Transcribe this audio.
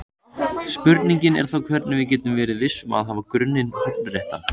Spurningin er þá hvernig við getum verið viss um að hafa grunninn hornréttan.